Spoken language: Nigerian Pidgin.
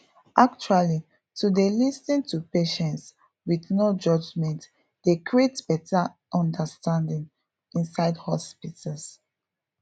actually to dey lis ten to patients with no judgement dey create better understanding inside hospitals